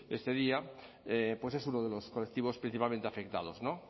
este día pues es uno de los colectivos principalmente afectados no